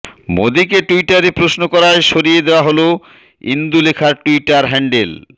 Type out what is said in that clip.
মোদিকে টুইটারে প্রশ্ন করায় সরিয়ে দেওয়া হল ইন্দুলেখার টুইটার হ্যাণ্ডেল